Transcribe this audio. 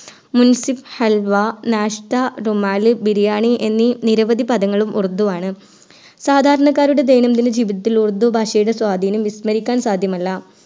മുൻസിഫ് ഹൽവ നഷ്ത റുമാലിൻ ബിരിയാണി എന്നി നിരവധി പദങ്ങളും ഉറുദു ആണ് സാധാരണക്കാരുടെ ദൈനംദിന ജീവിതത്തിൽ ഉറുദു ഭാഷയുടെ സ്വാതീനം വിസ്മരിക്കാൻ സാധ്യമല്ല